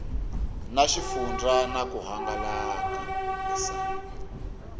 na xifundzha na ku hangalasa